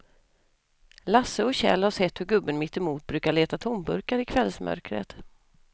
Lasse och Kjell har sett hur gubben mittemot brukar leta tomburkar i kvällsmörkret.